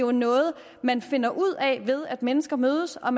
er noget man finder ud af ved at mennesker mødes og